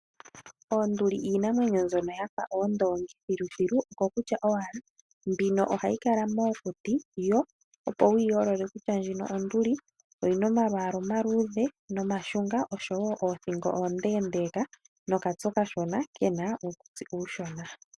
Oonduli iinamwenyo mbyono yafa oondongi thilithilu, oko kutya owala mbino ohayi kala mookuti yo opo wuyi yoolole kutya ndjino onduli oyina omalwaala omaluudhe nomashunga oshowo oothingo oondendeeka, nokatse okashona kena uukutsi uushona.